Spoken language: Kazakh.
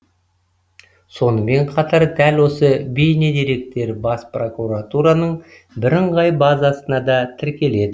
сонымен қатар дәл осы бейнедеректер бас прокуратураның бірыңғай базасына да тіркеледі